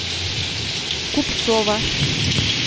купцова